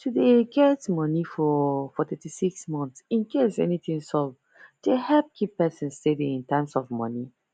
to dey get money for for thirty six month incase anything sup dey help keep person steady in terms of money